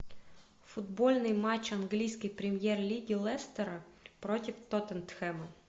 футбольный матч английской премьер лиги лестера против тоттенхэма